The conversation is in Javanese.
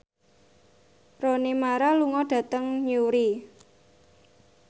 Rooney Mara lunga dhateng Newry